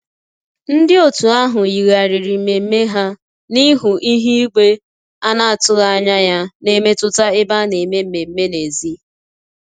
Ndị otu ahụ yigharịrị mmemme ha n'ihi ihu igwe na-atụghị anya ya na-emetụta ebe a na-eme mmemme n'èzí